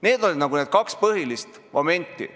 Need olid kaks põhilist momenti.